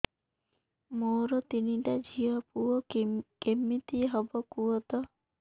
ମୋର ତିନିଟା ଝିଅ ପୁଅ କେମିତି ହବ କୁହତ